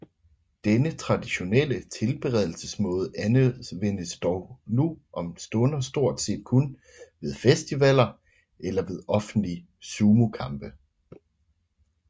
Denne traditionelle tilberedelsesmåde anvendes dog nu om stunder stort set kun ved festivaller eller ved offentlige sumokampe